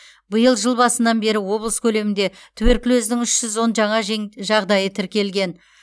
биыл жыл басынан бері облыс көлемінде туберкулездің үш жүз он жаңа жағдайы тіркелген